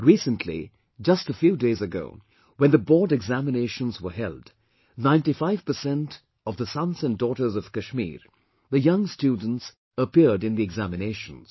Recently, just a few days ago, when the Board examinations were held, 95% of the sons and daughters of Kashmir, the young students appeared in the examinations